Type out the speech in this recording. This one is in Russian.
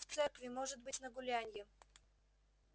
в церкви может быть на гулянье